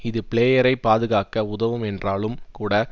இது பிளேயரைப் பாதுகாக்க உதவும் என்றாலும் கூட